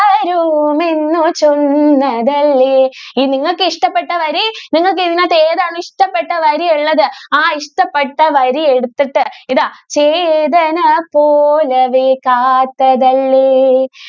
ചൊന്നതല്ലേ, നിങ്ങൾക്ക് ഇഷ്ടപെട്ട വരി നിങ്ങൾക്ക് ഇതിനകത്ത് ഏതാണ് ഇഷ്ടപെട്ട വരി ഉള്ളത് ആ ഇഷ്ടപെട്ട വരി എടുത്തിട്ട് ഇതാ ചേതന പോലവൾ കാത്തതല്ലേ.